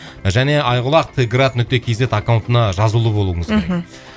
және айқұлақ т град нүкте кз аккаунтына жазулы болуыңыз керек мхм